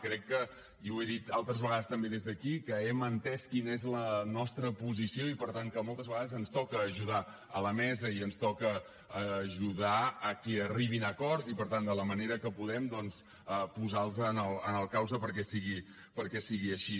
crec que i ho he dit altres vegades també des d’aquí hem entès quina és la nostra posició i per tant que moltes vegades ens toca ajudar a la mesa i ens toca ajudar a que arribin a acords i per tant de la manera que podem doncs posar los en el camí perquè sigui així